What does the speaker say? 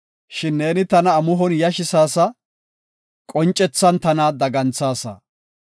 Shin neeni tana amuhon yashisaasa; qoncethan tana daganthaasa.